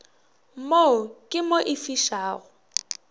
mo ke mo e fišago